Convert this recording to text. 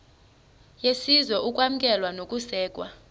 yesizwe ukwamkelwa nokusekwa